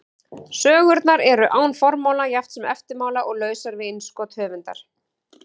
Sögurnar eru án formála jafnt sem eftirmála og lausar við innskot höfundar.